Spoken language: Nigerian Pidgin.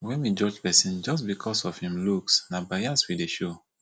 wen we judge pesin just becos of em looks na bias we dey show